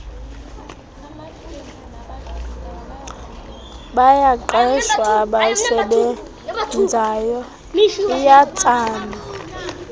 yabaqeshwa abasebenzayo iyatsalwa